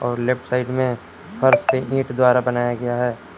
और left side में फर्श पे ईंट द्वारा बनाया गया है।